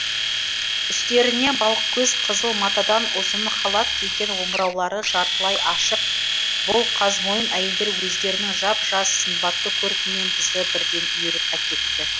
үстеріне балықкөз қызыл матадан ұзын халат киген омыраулары жартылай ашық бұл қазмойын әйелдер өздерінің жап жас сымбатты көркімен бізді бірден үйіріп әкетті